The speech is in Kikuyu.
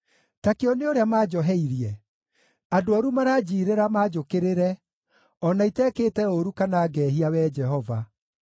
Ta kĩone ũrĩa manjoheirie! Andũ ooru maranjiirĩra manjũkĩrĩre, o na itekĩte ũũru kana ngehia, Wee Jehova.